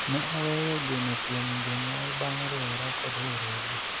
ne aweyo geno kuom jonyuol bang' riwora kod riwruogni